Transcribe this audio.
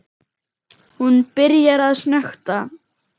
Hún byrjar að snökta.